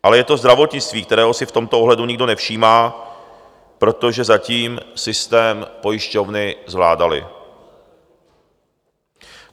Ale je to zdravotnictví, kterého si v tomto ohledu nikdo nevšímá, protože zatím systém pojišťovny zvládaly.